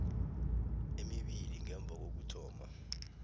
emibili ngemva kokuthoma